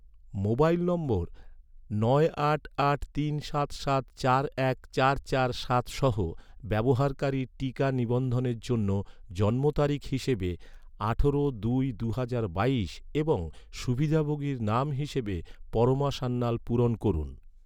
mobile number নয় আট আট তিন সাত সাত চার এক চার চার সাত সহ ব্যবহারকারীর টিকা নিবন্ধনের জন্য জন্মতারিখ হিসাবে আঠারো দুই দুহাজার বাইশ এবং সুবিধাভোগীর নাম হিসাবে পরমা সান্যাল পূরণ করুন